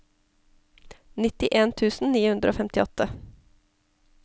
nittien tusen ni hundre og femtiåtte